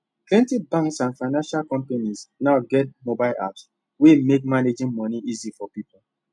plenty banks and financial companies now get mobile apps wey make managing money easy for people